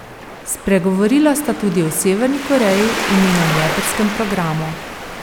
Spregovorila sta tudi o Severni Koreji in njenem jedrskem programu.